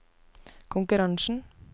konkurransen